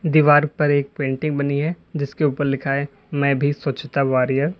दीवार पर एक पेंटिंग बनी है जिसके ऊपर लिखा है मैं भी स्वछता वारियर ।